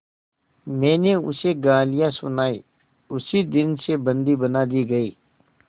मैंने उसे गालियाँ सुनाई उसी दिन से बंदी बना दी गई